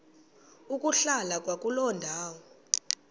ukuhlala kwakuloo ndawo